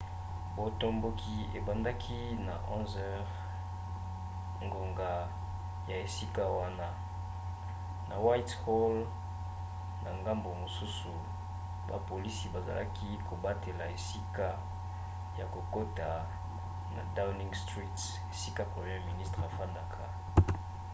botomboki ebandaki na 11h00 ngonga ya esika wana utc+1 na whitehall na ngambu mosusu bapolisi bazalaki kobatela esika ya kokota na downing street esika premier ministre afandaka